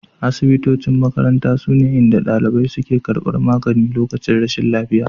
Asibitocin makaranta sune inda dalibai suke karbar magani lokacin rashin lafiya